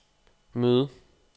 møde